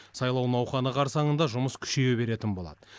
сайлау науқаны қарсаңында жұмыс күшейе беретін болады